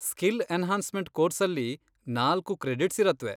Skill enhancement ಕೋರ್ಸಲ್ಲಿ ನಾಲ್ಕು credits ಇರತ್ವೆ.